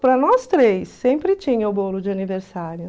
Prara nós três, sempre tinha o bolo de aniversário.